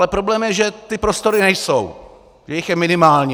Ale problém je, že ty prostory nejsou, že jich je minimálně.